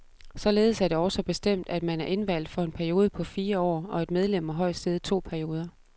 Således er det også bestemt, at man er indvalgt for en periode på fire år, og et medlem må højst sidde to perioder.